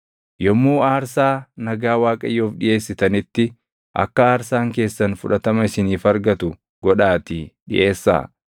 “ ‘Yommuu aarsaa nagaa Waaqayyoof dhiʼeessitanitti akka aarsaan keessan fudhatama isiniif argatu godhaatii dhiʼeessaa.